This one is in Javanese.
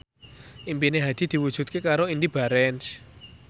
impine Hadi diwujudke karo Indy Barens